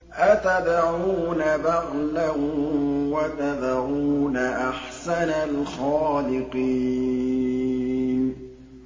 أَتَدْعُونَ بَعْلًا وَتَذَرُونَ أَحْسَنَ الْخَالِقِينَ